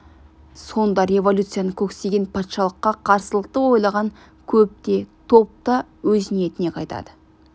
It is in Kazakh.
сонда революцияны көксеген патшалыққа қарсылықты ойлаған көп те топ та өз ниетінен қайтады